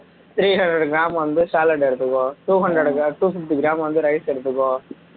three hundred gram வந்து salad எடுத்துக்கோ two hundred two fifty gram வந்து rice எடுத்துக்கோ